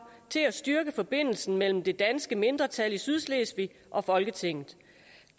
til at styrke forbindelsen mellem det danske mindretal i sydslesvig og folketinget